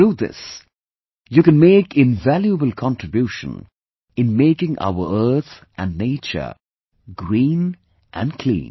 Through this, you can make invaluable contribution in making our earth and nature green and clean